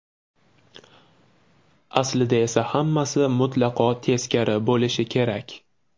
Aslida esa hammasi mutlaqo teskari bo‘lishi kerak.